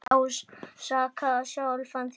Ekki ásaka sjálfan þig.